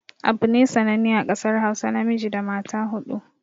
Abune sananne a ƙasar hausa namiji da mata huɗu